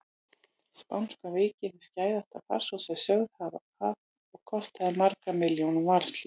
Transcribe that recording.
Spánska veikin er skæðasta farsótt sem sögur fara af og kostaði margar milljónir mannslífa.